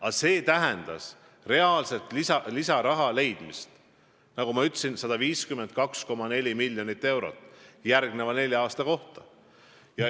Aga see tähendas lisaraha leidmist: nagu ma ütlesin, kokku 152,4 miljonit eurot järgmiseks neljaks aastaks.